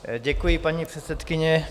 Děkuji, paní předsedkyně.